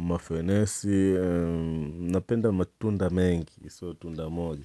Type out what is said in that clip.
mafenesi, napenda matunda mengi so tunda moja.